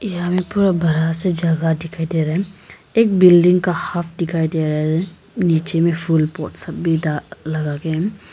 यहां पे पूरा बड़ा सा जगह दिखाई दे रहा है एक बिल्डिंग का हाफ दिखाई दे रहा है नीचे में फूल लगा के है।